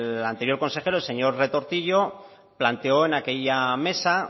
el anterior consejero el señor retortillo planteó en aquella mesa